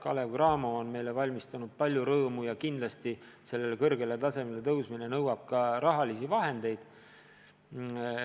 Kalev/Cramo on meile valmistanud palju rõõmu ja kindlasti nõuab nii kõrgele tasemele tõusmine ka palju raha.